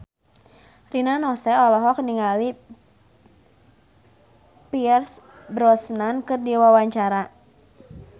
Rina Nose olohok ningali Pierce Brosnan keur diwawancara